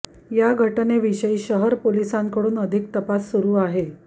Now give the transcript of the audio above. या घटनेविषयी शहर पोलिसांकडून अधिक तपास सुरू आहे